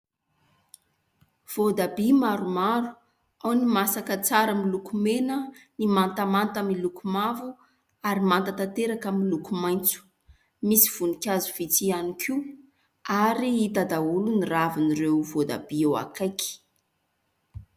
Voatabia maromaro : ao ny masaka tsara miloko mena, ny mantamanta miloko mavo ary manta tanteraka miloko maitso. Misy voninkazo vitsy ihany koa ary hita daholo ny ravin'ireo voatabia eo akaiky.